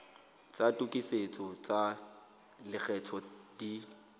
tsa tokisetso tsa lekgetho di